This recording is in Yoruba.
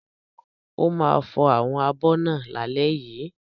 Ó ma fò àwọn abọ̀ náà lálẹ́ yìí.